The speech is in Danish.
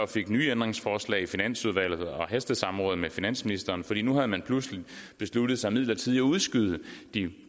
fik nye ændringsforslag i finansudvalget og hastesamråd med finansministeren for nu havde man pludselig besluttet sig til midlertidigt at udskyde de